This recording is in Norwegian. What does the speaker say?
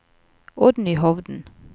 Oddny Hovden